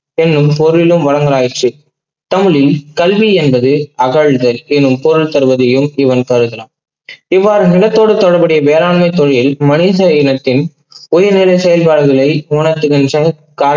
என்னும் பொருளிலும் வழங்கலாயிற்று. பள்ளி கல்வி என்பது அகழ்கள் என்னும் பொருள் தருவதையும் இவ்வாறு நிலத்தோடு தொடர்புடைய வேளாண்மை தொழில் மனிதயினத்தின் உயிரில் செயல்பாடுகளை உணர்த்துகின்ற